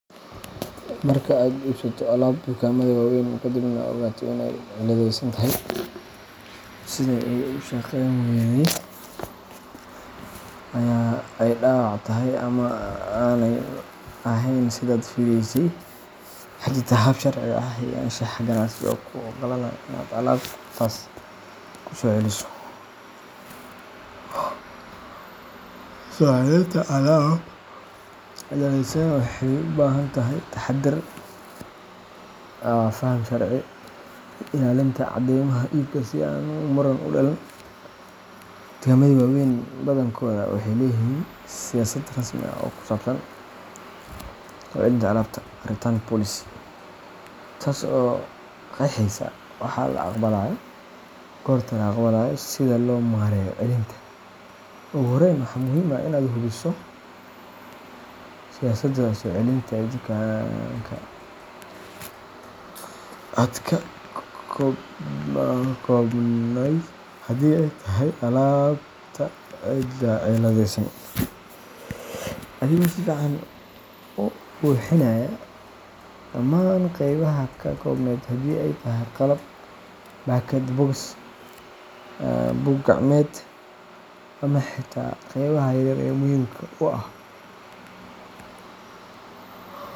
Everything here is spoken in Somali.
Marka aad iibsato alaab dukaamada waaweyn ka dibna aad ogaato in ay cilladaysan tahay sida ay u shaqayn wayday, ay dhaawac tahay, ama aanay ahayn sidaad fileysay ,waxaa jirta hab sharci ah iyo anshax ganacsi oo kuu ogolaanaya in aad alaabtaas ku soo celiso. Soo celinta alaab cilladaysan waxay u baahan tahay taxadar, faham sharci, iyo ilaalinta caddeymaha iibka si aan muran u dhalan. Dukaamada waaweyn badankooda waxay leeyihiin siyaasad rasmi ah oo ku saabsan soo celinta alaabta return policy, taas oo qeexeysa waxa la aqbalayo, goorta la aqbalo, iyo sida loo maareeyo celinta. Ugu horreyn, waa muhiim in aad hubiso siyaasadda soo celinta ee dukaanka aad ka iibsatay alaabta. Qaado alaabta cilladaysan, adigoo si fiican u buuxinaya dhammaan qeybaha ay ka koobnayd haddii ay tahay qalab, baakad box, buug-gacmeed, ama xitaa qaybaha yaryar ee muhiimka u ah.